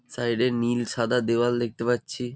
Side -এ নীল সাদা দেওয়াল দেখতে পাচ্ছি।